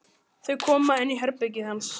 Þau koma inn í herbergið hans.